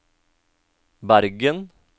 Bergen